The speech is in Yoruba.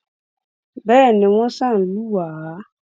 bẹẹ ni wọ́n ṣáà ń lù wá